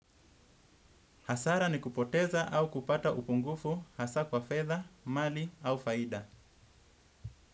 Hasara ni kupoteza au kupata upungufu hasa kwa fedha, mali au faida.